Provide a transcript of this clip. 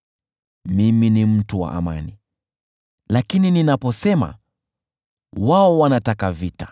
Mimi ni mtu wa amani; lakini ninaposema, wao wanataka vita.